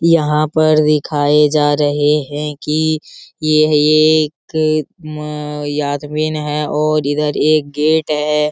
यहाँ पर दिखाए जा रहें हैं कि यह एक उम् आदमी है और इधर एक गेट है।